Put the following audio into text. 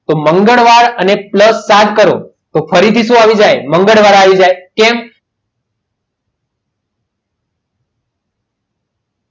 તો મંગળવાર અને plus ચાર કરો તો ફરીથી શું આવી જાય મંગળવાર